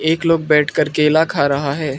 एक लोग बैठकर केला खा रहा है।